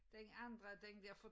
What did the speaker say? Den andre den der fra